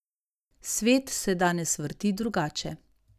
Svet se danes vrti drugače.